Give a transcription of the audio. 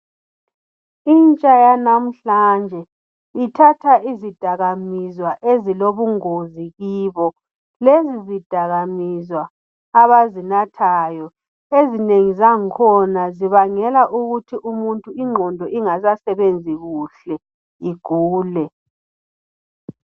Intsha yanamhlanje ithatha izidakamizwa ezilobungozi kibo, lezi zidakamizwa abazinathayo ezinengi zangkhona zibangela ukuthi umuntu ingqondo ingasasebenzi kuhle, igule.